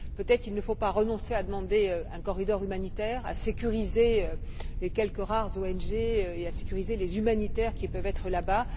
Peut être ne faut il pas renoncer à demander un corridor humanitaire, à sécuriser les quelques rares ONG et à sécuriser les humanitaires qui peuvent être là bas.